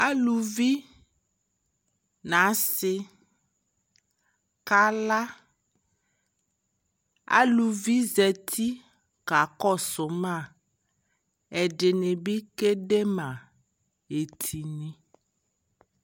Aluvi na asi ka la Aluvi zati ka kɔ su maƐdini bi kɛ de ma ɛtu